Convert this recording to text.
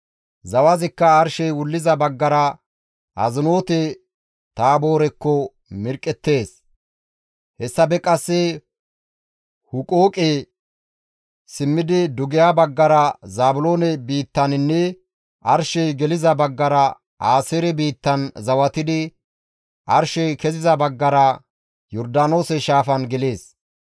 Zawazikka arshey wulliza baggara Azinoote-Taaboorekko mirqqettees; hessafe qasse Huqooqe simmidi dugeha baggara Zaabiloone biittaninne arshey geliza baggara Aaseere biittan zawatidi arshey keziza baggara Yordaanoose shaafan gelees.